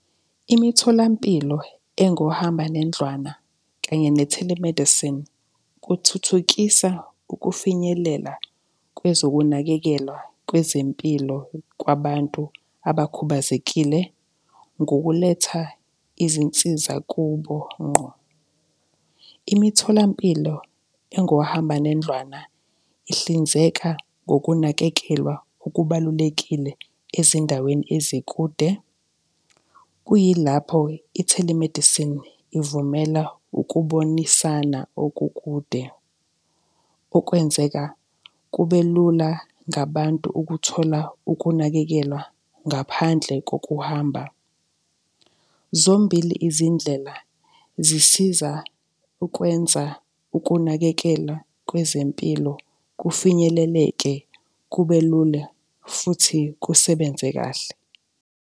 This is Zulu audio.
Imitholampilo engohambanendlwana kanye ne-telemedicine kuthuthukisa ukufinyelela kwezokunakekelwa kwezempilo kwabantu abakhubazekile ngokuletha izinsiza kubo ngqo. Imitholampilo engohambanendlwana ihlinzeka ngokunakekelwa okubalulekile ezindaweni ezikude, kuyilapho i-telemedicine ivumela ukubonisana okukude okwenzeka kube lula ngabantu ukuthola ukunakekelwa ngaphandle kokuhamba. Zombili izindlela zisiza ukwenza ukunakekela kwezempilo kufinyeleleke, kube lula futhi kusebenze kahle.